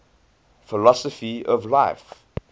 philosophy of life